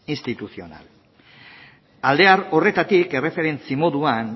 institucional alde horretatik erreferentzi moduan